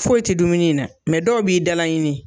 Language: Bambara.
Foyi te dumuni in na dɔw b'i da laɲini